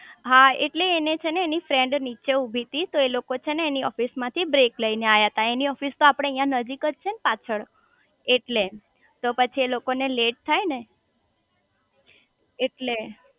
હા એટલે એને છે ને એની ફ્રેન્ડ નીચે ઉભી તી તો એ લોકો છે એની ઓફિસે માંથી બ્રેક લઇ ને આયા તા એની ઓફિસ તો આપડે અહીંયા નજીક જ છે ને પાછળજ તો પછી એલોકો ને લેટ થાય ને એટલે